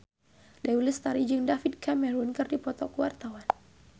Dewi Lestari jeung David Cameron keur dipoto ku wartawan